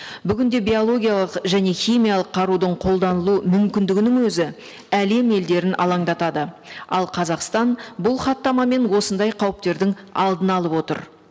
бүгін де биологиялық және химиялық қарудың қолданылу мүмкіндігінің өзі әлем елдерін алаңдатады ал қазақстан бұл хаттамамен осындай қауіптердің алдын алып отыр